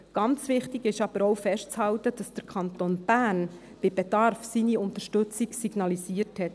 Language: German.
Ganz wichtig ist aber auch, festzuhalten, dass der Kanton Bern bei Bedarf seine Unterstützung signalisiert hat.